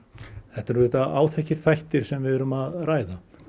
þetta eru áþekkir þættir sem við erum að ræða